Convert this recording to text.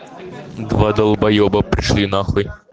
два долбоеба пошли на хуй